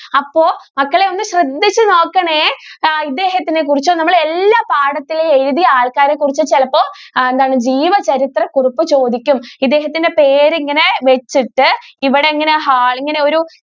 അപ്പോ മക്കളെ ഒന്ന് ശ്രദ്ധിച്ച് നോക്കണേ. ഇദ്ദേഹത്തിനെ കുറിച്ച് നമ്മുടെ എല്ലാ പാഠത്തിലും എഴുതിയ ആൾക്കാരെ കുറിച്ച് ചിലപ്പോ ആഹ് ജീവ ചരിത്ര കുറിപ്പ് ചോദിക്കും. ഇദ്ദേഹത്തിന്റെ പേര് ഇങ്ങനെ വെച്ചിട്ട് ഇവിടെങ്ങനെ ഒരു